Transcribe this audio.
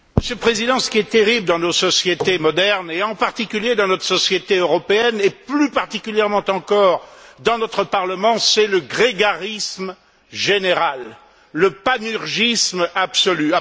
Monsieur le Président, ce qui est terrible dans nos sociétés modernes et, en particulier, dans notre société européenne, et plus particulièrement encore dans notre Parlement, c'est le grégarisme général, le panurgisme absolu.